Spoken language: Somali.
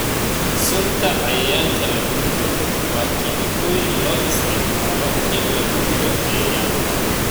Sunta cayayaanka lagu dilo waa kiimikooyin loo isticmaalo in lagu dilo cayayaanka.